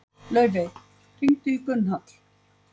Laufey, hringdu í Gunnhall.